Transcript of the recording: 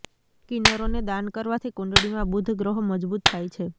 કિન્નરો ને દાન કરવાથી કુંડળીમાં બુધ ગ્રહો મજબૂત થાય છે